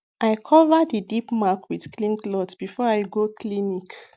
i cover the deep mark with clean cloth before i go clinic